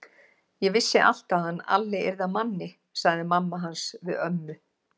Ég vissi alltaf að hann Alli yrði að manni, sagði mamma hans við ömmu.